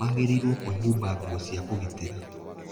Magĩrĩirũo kwĩhumba nguo cia kũgitĩra.